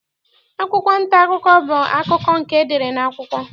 Akwụkwụ nta akụkọ bụ akụkọ nke e dere n'akwụkwọ.